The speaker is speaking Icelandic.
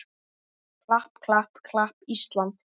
klapp, klapp, klapp, Ísland!